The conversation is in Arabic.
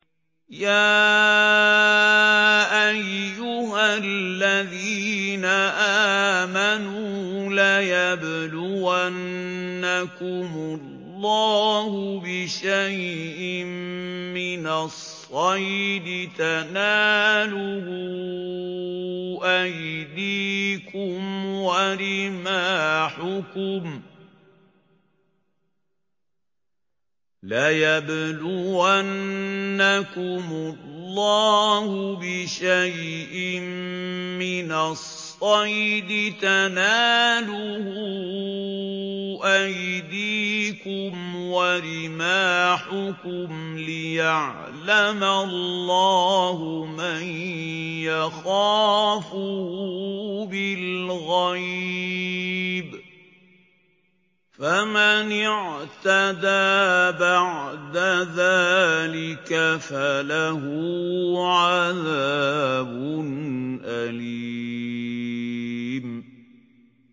يَا أَيُّهَا الَّذِينَ آمَنُوا لَيَبْلُوَنَّكُمُ اللَّهُ بِشَيْءٍ مِّنَ الصَّيْدِ تَنَالُهُ أَيْدِيكُمْ وَرِمَاحُكُمْ لِيَعْلَمَ اللَّهُ مَن يَخَافُهُ بِالْغَيْبِ ۚ فَمَنِ اعْتَدَىٰ بَعْدَ ذَٰلِكَ فَلَهُ عَذَابٌ أَلِيمٌ